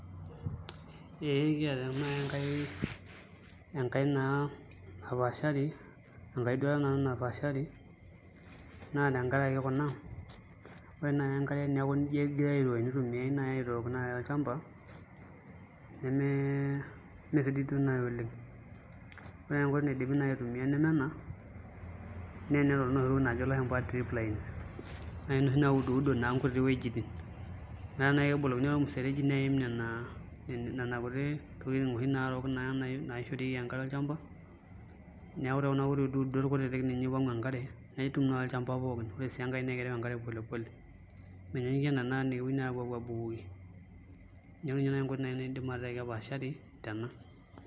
Ee kiata naai enkae napaashari enkaeduata naa napaashari naa tenakaraki kuna ore naai enkare teneeku nijia egirai aiko tenitumiai aitook naai olchamba meesidai duo naai oleng' ore enkoitoi naai naidimi aitumiaa neme ena naa enitumiai nai inoshi tokitin naajo ilashumba drip lines naai inoshi naa naai ekebolokini ake ormuregi neim nena tokitin naarook naishorieki enkare olchamba neeku tekuna kuti uduudot kutitit eimu enkare netum naa olchamba pookin, ore sii enkae naa ekereu enkare polepole menyanyukie ina naai naa ekepuoi aabukoki, neeku ninye naai enkoi naidip metaa ekepaashari tena.